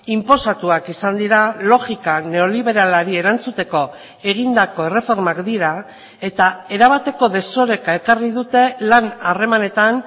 inposatuak izan dira logika neoliberalari erantzuteko egindako erreformak dira eta erabateko desoreka ekarri dute lan harremanetan